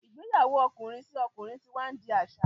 igbeyawo okunrin àti ọkùnrin tí wá ndi aṣa.